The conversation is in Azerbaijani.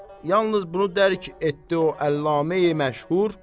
Yalnız bunu dərk etdi o Əllamə-i məşhur